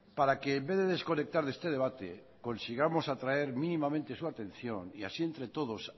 para que en vez de desconectar de este debate consigamos atraer mínimamente su atención y así entre todos